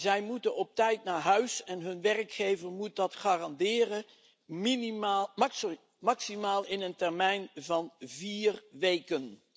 Zij moeten op tijd naar huis en hun werkgever moet dat garanderen, maximaal in een termijn van vier weken.